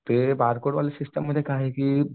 ते बारकोड वाले सिस्टममध्ये काय आहे की